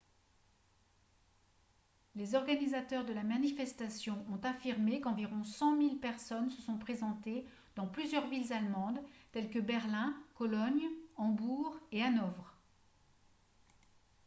les organisateurs de la manifestation ont affirmé qu'environ 100 000 personnes se sont présentées dans plusieurs villes allemandes telles que berlin cologne hambourg et hanovre